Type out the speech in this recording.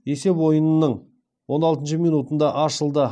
есеп ойынның он алтыншы минутында ашылды